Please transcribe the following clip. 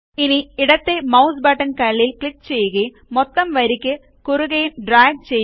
ഇനി ഇടത്തേ mouse button കള്ളിയിൽ ക്ലിക്ക് ചെയ്യുകയും മൊത്തം വരിയിയ്ക്ക് കുറുകെയും ഡ്രാഗ് ചെയ്യുക